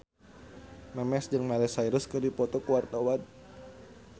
Memes jeung Miley Cyrus keur dipoto ku wartawan